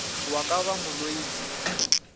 wa ka ba mo loile